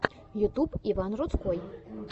ютюб иван рудской